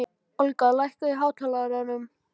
Olga, lækkaðu í hátalaranum.